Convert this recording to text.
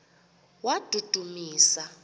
wadudumisa